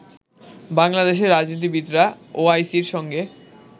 বাংলাদেশের রাজনীতিবিদরা ওআইসির সঙ্গে